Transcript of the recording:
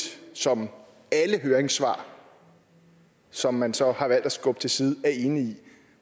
som alle høringssvar som man så har valgt at skubbe til side er enige i